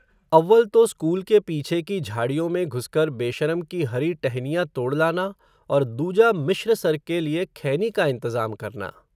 अव्वल तो स्कूल के पीछे की झाड़ियो में घुसकर बेशरम की हरी टहनियां तोड़ लाना, और दूजा मिश्र सर के लिए खैनी का इंतज़ाम करना